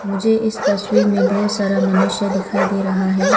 मुझे इस तस्वीर में बहुत सारा मनुष्य दिखाई दे रहा है।